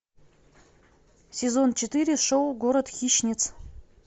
сезон четыре шоу город хищниц